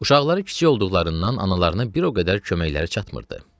Uşaqları kiçik olduqlarından analarına bir o qədər köməkləri çatmırdı.